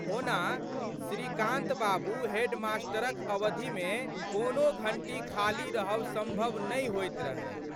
ओना, श्रीकान्त बाबू हेडमास्टरक अवधिमे कोनो घंटी खाली रहब संभव नहि होइत रहै।